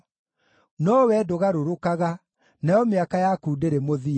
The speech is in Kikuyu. No Wee ndũgarũrũkaga, nayo mĩaka yaku ndĩrĩ mũthia.